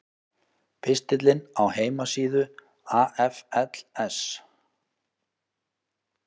Pistillinn á heimasíðu AFLs